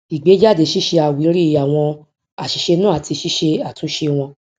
ìgbé jáde ṣíṣe àwírí àwọn àṣìṣe náà àti ṣíṣe àtúnṣe wọn